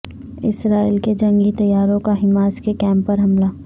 اسرائیل کے جنگی طیاروں کا حماس کے کیمپ پر حملہ